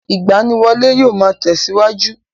Ìgbaniwọlé yóò máa tẹ̀síwájú.